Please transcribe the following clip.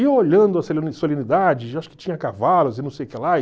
E eu olhando, acho que tinha cavalos e não sei o que lá.